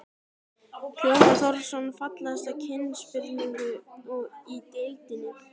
Hjálmar Þórarinsson Fallegasti knattspyrnumaðurinn í deildinni?